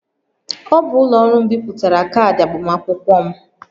Ọ bụ ụlọ ọrụ m bipụtara kaadị agbamakwụkwọ m